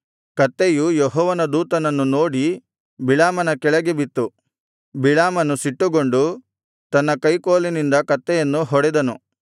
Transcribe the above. ಕತ್ತೆಯು ಯೆಹೋವನ ದೂತನನ್ನು ನೋಡಿ ಬಿಳಾಮನ ಕೆಳಗೆ ಬಿತ್ತು ಬಿಳಾಮನು ಸಿಟ್ಟುಗೊಂಡು ತನ್ನ ಕೈಕೋಲಿನಿಂದ ಕತ್ತೆಯನ್ನು ಹೊಡೆದನು